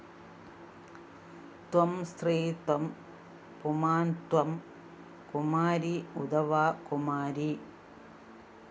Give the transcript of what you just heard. ത്വം സ്ത്രീ ത്വം പുമാന്‍ ത്വം കുമാരീ ഉതവാ കുമാരീ